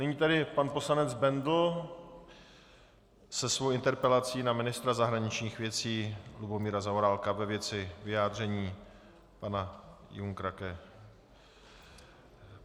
Nyní tedy pan poslanec Bendl se svou interpelací na ministra zahraničních věcí Lubomíra Zaorálka ve věci vyjádření pana Junckera.